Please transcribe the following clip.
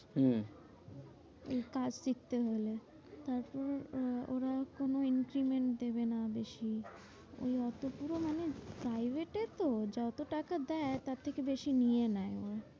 হম এর কাজ দেখতে হলে। তারপরে আহ ওরা কোনো increment দেবে না বেশি। অতগুলো মানে private এতে তো যত টাকা দেয় তার থেকে বেশি নিয়ে নেয় ওরা।